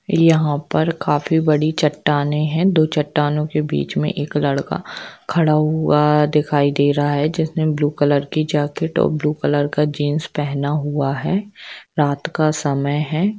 यहा पर काफी बड़ी चट्टानें है दो चट्टानों के बीच में एक लड़का खडा हुआ दिखाई दे रहा है जिसने ब्लू कलर की जाकेट और ब्लू कलर का जीन्स पेहना हुआ है रात का समय है।